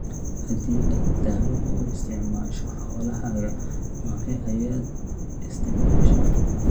Haddii aad daawo u isticmaasho xoolahaaga, noocee ayaad isticmaashaa?